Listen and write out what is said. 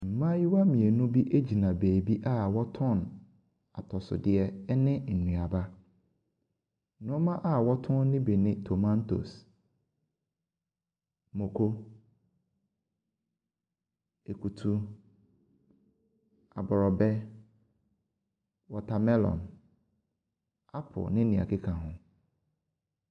Mmayewa mmienu bi gyna baabi a wɔtɔn atosodeɛ ne nnuaba. Nneɛma a wɔtɔn no bi te tomatoes, mako, akutu aborɔbɛ, watermelon, apple ne deɛ ɛkeka ho.